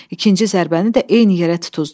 İkinci zərbəni də eyni yerə tutuzdurdu.